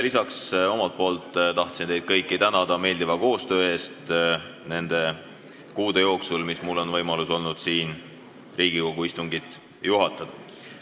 Lisaks tahtsin omalt poolt teid kõiki tänada meeldiva koostöö eest nende kuude jooksul, kui mul on olnud võimalus Riigikogu istungit juhatada.